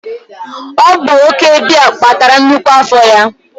ọ bụ oke biya kpatara nnukwu afọ ya